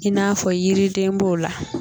I n'a fɔ yiriden b'o la